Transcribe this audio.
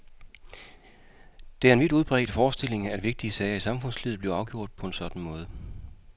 Det er en vidt udbredt forestilling, at vigtige sager i samfundslivet bliver afgjort på en sådan måde.